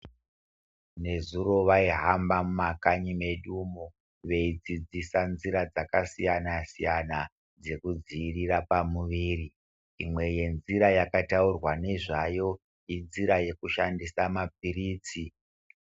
Nezuro vaihamba mumakanyi medumo veidzidzisa nzira dzakasiyana-siyana dzekudzivirira pamuviri, imwe yenzira yakataurwa nezvayo inzira yekushandisa mapiritsi.